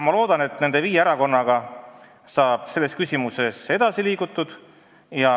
Ma loodan, et me liigume nende viie erakonnaga selles küsimuses edasi.